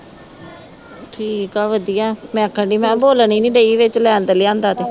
ਠੀਕ ਹੈ, ਵਧੀਆ, ਮੈਂ ਕਹਿੰਦੀ, ਮੈਂ ਕਿਹਾ ਬੋਲਣ ਹੀ ਨਹੀਂ ਡੇਈ ਵਿੱਚ ਲੈ ਤਾਂ ਲਿਆਂਦਾ ਤੇ